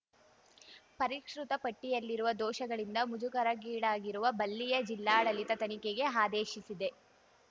ಪರಿಷ್ಕೃತ ಪಟ್ಟಿಯಲ್ಲಿರುವ ದೋಷಗಳಿಂದ ಮುಜುಗರಗೀಡಾಗಿರುವ ಬಲ್ಲಿಯಾ ಜಿಲ್ಲಾಡಳಿತ ತನಿಖೆಗೆ ಆದೇಶಿಸಿದೆ